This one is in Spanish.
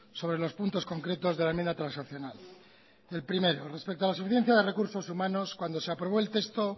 sobre los puntos concretos de la enmienda transaccional el primero respeto a la suficiencia de recursos humanos cuando se aprobó el texto